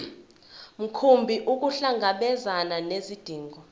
mkhumbi ukuhlangabezana nezidingo